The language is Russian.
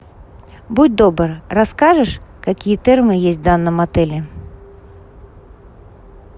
будь добр расскажешь какие термы есть в данном отеле